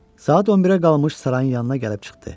Saat 11-ə qalmış sarayın yanına gəlib çıxdı.